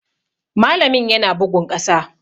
Malamin yana bugun ƙasa.